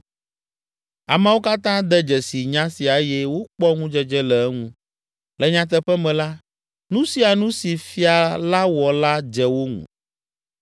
Ameawo katã de dzesi nya sia eye wokpɔ ŋudzedze le eŋu; le nyateƒe me la, nu sia nu si fia la wɔ la dze wo ŋu.